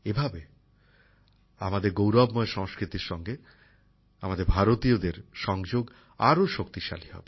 এইভাবে আমাদের গৌরবময় সংস্কৃতির সঙ্গে আমাদের ভারতীয়দের সংযোগ আরও শক্তিশালী হবে